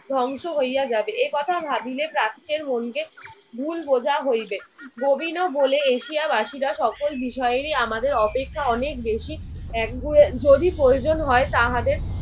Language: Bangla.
ধ্বংস হইয়া যাবে, এই কথা ভাবিলে প্রাচ্যের মনকে ভুল বোঝা হইবে। ববিনো বলে এশিয়াবাসীরা সকল বিষয়েরই আমাদের অপেক্ষা অনেক বেশি একগুঁয়ে। যদি প্রয়োজন হয় তাহাদের